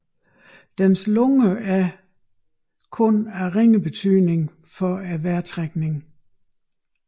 Dens lunger er således kun af ringe betydning for vejrtrækningen